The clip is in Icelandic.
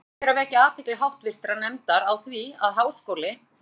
Ég leyfi mér fyrst að vekja athygli háttvirtrar nefndar á því, að Háskóli